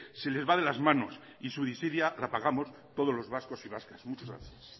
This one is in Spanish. se les va de las manos y su desidia la pagamos todos los vascos y vascas muchas gracias